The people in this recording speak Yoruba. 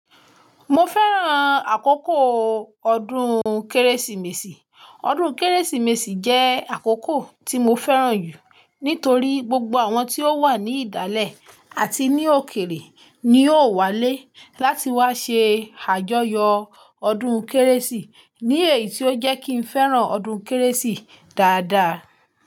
Mo fẹ́ràn àkókò ọdún Kérésìmesì. Ọdún Kérésìmesì jẹ́ àkókò tí mo fẹ́ràn jù nítorí gbogbo àwọn tí ó wà ní ìdálẹ̀ àti ní òkèrè ni ó wálé láti wá ṣe àjọyọ̀ ọdún Kérésì. Ni èyí tí ó jẹ́ kí n fẹ́ràn ọdún Kérésì dáadáa.